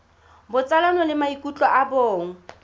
botsalano le maikutlo a bong